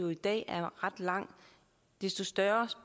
i dag er ret lang desto større